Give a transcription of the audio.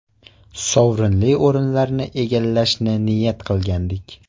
Sovrinli o‘rinlarni egallashni niyat qilgandik.